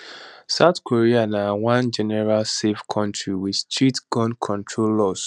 south korea na one generally safe kontri wit strict gun control laws